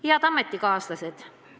Head ametikaaslased!